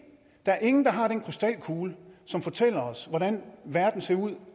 der er ingen der har den krystalkugle som fortæller os hvordan verden ser ud